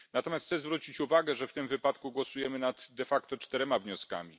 Natomiast chcę zwrócić uwagę, że w tym wypadku głosujemy de facto nad czterema wnioskami.